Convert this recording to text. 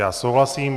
Já souhlasím.